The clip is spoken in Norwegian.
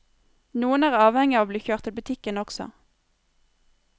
Noen er avhengig av å bli kjørt til butikken også.